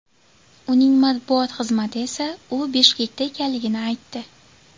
Uning matbuot xizmati esa u Bishkekda ekanligini aytdi.